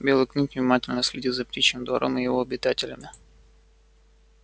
белый клык внимательно следил за птичьим двором и его обитателями